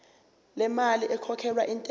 lemali ekhokhelwa intela